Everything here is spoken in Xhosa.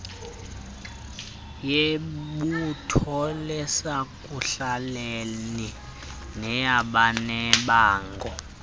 yebutho lasekuhlaleni neyabanebango